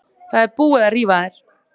Það er búið að rífa þær.